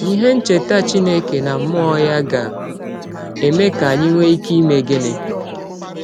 Ihe ncheta Chineke na mmụọ ya ga - eme ka anyị nwee ike ime gịnị?